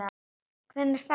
Hvenær ferðu?